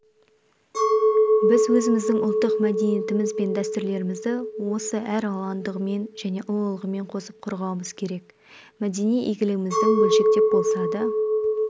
біз өзіміздің ұлттық мәдениетіміз бен дәстүрлерімізді осы әралуандығымен және ұлылығымен қосып қорғауымыз керек мәдени игілігімізді бөлшектеп болса да